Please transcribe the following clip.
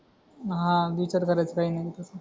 हा विचार करायचा आहे